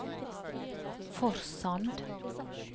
Forsand